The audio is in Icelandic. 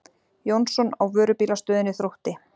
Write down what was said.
Jónsson á Vörubílastöðinni Þrótti.